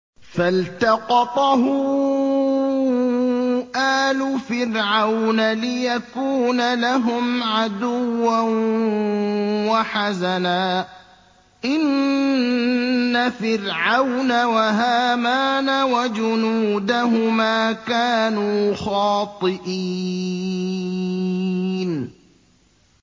فَالْتَقَطَهُ آلُ فِرْعَوْنَ لِيَكُونَ لَهُمْ عَدُوًّا وَحَزَنًا ۗ إِنَّ فِرْعَوْنَ وَهَامَانَ وَجُنُودَهُمَا كَانُوا خَاطِئِينَ